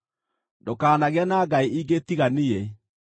“Ndũkanagĩe na ngai ingĩ tiga niĩ.